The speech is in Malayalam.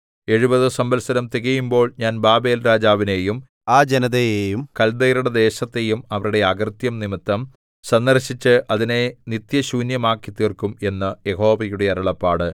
എഴുപത് സംവത്സരം തികയുമ്പോൾ ഞാൻ ബാബേൽ രാജാവിനെയും ആ ജനതയെയും കൽദയരുടെ ദേശത്തെയും അവരുടെ അകൃത്യം നിമിത്തം സന്ദർശിച്ച് അതിനെ നിത്യശൂന്യമാക്കിത്തീർക്കും എന്ന് യഹോവയുടെ അരുളപ്പാട്